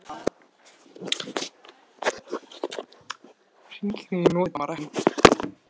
Aðalatriðið, tilkynnti hann, er að skoða ástandið í hugmyndafræðilegu ljósi